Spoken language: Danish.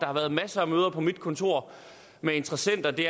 har været masser af møder på mit kontor med interessenter det